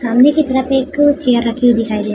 सामने की तरफ एक चेयर रखी हुई दिखाई दे --